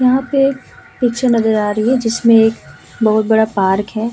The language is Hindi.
यहाँ पे एक पिक्चर नजर आ रही है जिसमें एक बहोत बड़ा पार्क है।